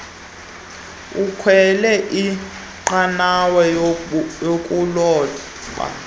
ekhwele inqanawa yokuloba